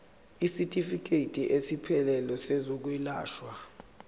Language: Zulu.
isitifikedi esiphelele sezokwelashwa